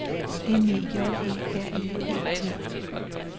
M E J E R I E T